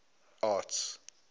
arts